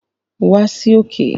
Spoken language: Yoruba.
Wa sí òkè